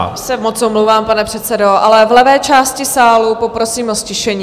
Já se moc omlouvám, pane předsedo, ale v levé části sálu poprosím o ztišení.